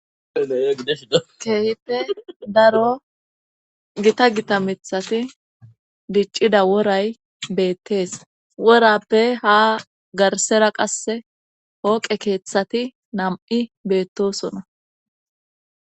Keehipe daro gita gita mithati diccida woray beettees worappe ha garsera qasse hooqe keeththati nam'i beettosona.